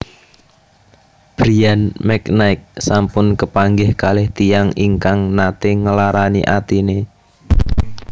Bryan McKnight sampun kepanggih kalih tiyang ingkang nate nglarani atine